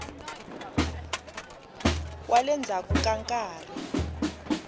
wa le ndzhaku ka nkarhi